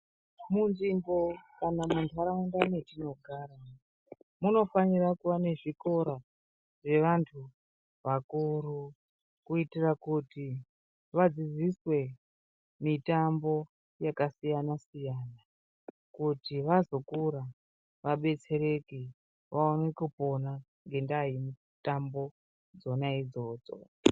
Munzvimbo kana mundaraunda mwetinogara, munofanira kuva nezvikora zvevantu vakuru, kuyitira kuti vadzidziswe mitambo yakasiyana-siyana, kuti vazokura vabetsereke vaone kupona ngendaa yemitambo dzona idzodzo.